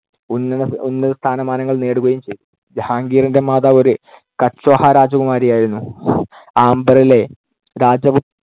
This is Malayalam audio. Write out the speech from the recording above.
ഉന്നത~ ഉന്നതസ്ഥാനമാനങ്ങൾ നേടുകയും ചെയ്തു. ജഹാംഗീറിന്‍ടെ മാതാവ് ഒരു കച്ച്വാഹ രാജകുമാരിയായിരുന്നു. ആംബറിലെ രാജപു